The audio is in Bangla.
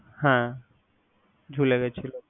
হ্যা ঝুলে গেছিল।